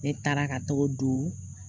Ne taara ka t'o don